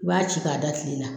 I b'a ci k'a da kile la